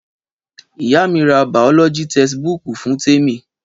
Ìyá mi rà bàọlọjí tẹsíbùkú fún Tẹmi